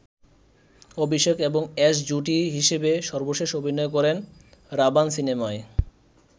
অভিষেক এবং অ্যাশ জুটি হিসেবে সর্বশেষ অভিনয় করেন 'রাভান' সিনেমায়।